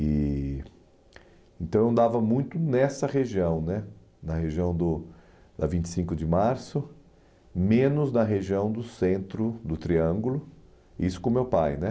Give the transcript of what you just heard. E Então eu andava muito nessa região né na região do da vinte e cinco de março, menos na região do centro do Triângulo, isso com o meu pai né